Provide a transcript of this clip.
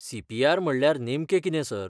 C. P. R. म्हणल्यार नेमकें किते, सर?